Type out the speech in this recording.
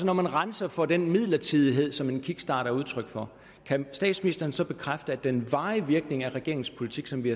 når man renser for den midlertidighed som en kickstart er udtryk for kan statsministeren så bekræfte at den varige virkning af regeringens politik som vi